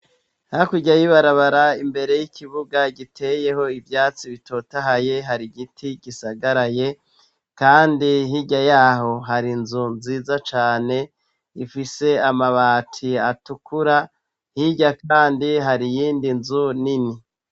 hakirya yibarabara imbere y'ikibuga giteyeho ivyatsi bitotahaye harigiti gisagaraye kandi hirya yaho hari inzu nziza cane ifise amabati atukura hirya kandi hari iyindi inzu nini